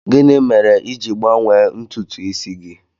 Gịnị mere i ji gbanwee ntutu isi gị?